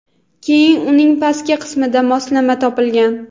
Keyin uning pastki qismida moslama topilgan.